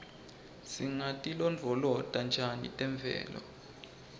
singatilondvolota njani temvelo